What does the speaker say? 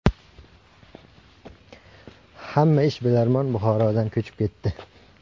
Hamma ishbilarmon Buxorodan ko‘chib ketdi.